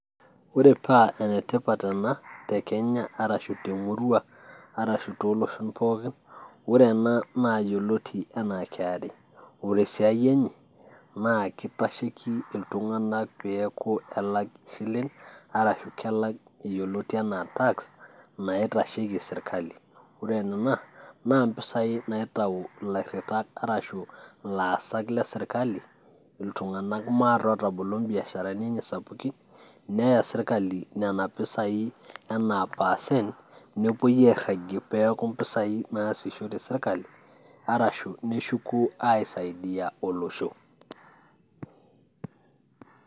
Ore paa enetipat ana te Kenya arashu te murrua arashu te loshon pookin, ore ena naa yioloti anaa KRA ore siaai enye naa keitasheki ltunganak peaku elak silen arashu kelak yeloti anaa tax naitasheki sirkali, ore nena naa mpisaii naitau ill'airitak arashu laasak le sirkali ltunganak maa taa otobolo mbiasharani enye sapuki neya sirkali mpesaii anaa percent nepoi airagie peaku mpisaii naasishore sirkali arashu neshuku aisaidia oloshoo.